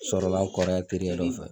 Sɔrɔ la n kɔrɔkɛ terikɛ de fɛ